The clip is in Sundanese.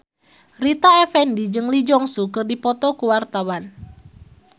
Rita Effendy jeung Lee Jeong Suk keur dipoto ku wartawan